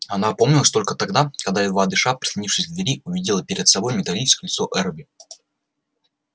она опомнилась только тогда когда едва дыша прислонившись к двери увидела перед собой металлическое лицо эрби